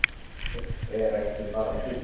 Borg er ekki bara hús.